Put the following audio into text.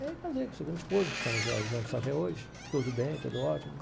Aí casei com a segunda esposa, que estamos juntos até hoje, tudo bem, tudo ótimo.